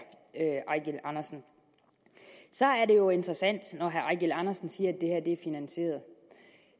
eigil andersen så er det jo interessant når herre eigil andersen siger